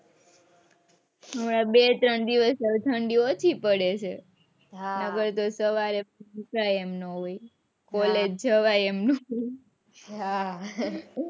બે ત્રણ દિવસ થી ઠંડી ઓછી પડે છે હા બાકી સવારે ઉઠાય એમ ના હોય હા college જવાય એમ નો હોય હા,